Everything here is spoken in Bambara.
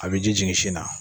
A bɛ ji jigin sin na